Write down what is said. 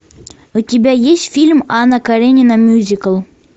у тебя есть фильм анна каренина мюзикл